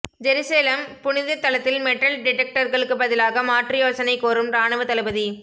Jerusalem புனித தலத்தில் metal டிடெக்டர்களுக்கு பதிலாக மாற்று யோசனை கோரும் ராணுவ தளபதி